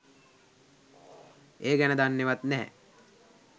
ඒ ගැන දන්නේවත් නැහැ.